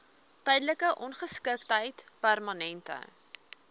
tydelike ongeskiktheid permanente